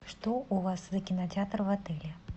что у вас за кинотеатр в отеле